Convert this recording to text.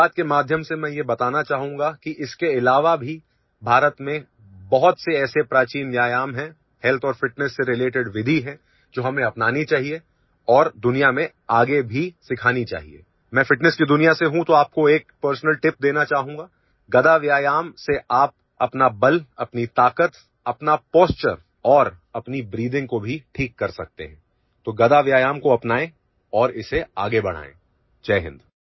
मन की बातके माध्यम से मैं यह बताना चाहूंगा कि इसके अलावा भी भारत में बहुत से ऐसे प्राचीन व्यायाम है હેલ્થ और fitnessसे રિલેટેડ विधि है जो हमें अपनानी चाहिए और दुनिया में आगे भी सिखानी चाहिए मैं ફિટનેસ की दुनिया से हूं तो आप को एक પર્સનલ ટીપ देना चाहूँगा गदा व्यायाम से आप अपना बल अपनी ताकत अपना પોશ્ચર और अपनी બ્રીથિંગ को भी ठीक कर सकते है तो गदा व्यायाम को अपनाए और इसे आगे बढाएं जय हिंद